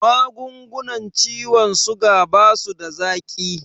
Magungunan ciwon suga basuda zaƙi